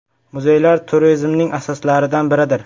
Muzeylar turizmning asoslaridan biridir.